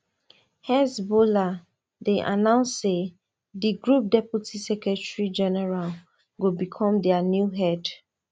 hezbollah don announce say di group deputy secretary general go become dia new head